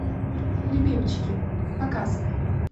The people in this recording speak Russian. любимчики показывай